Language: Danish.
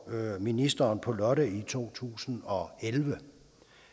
ministeren på lotte i to tusind og elleve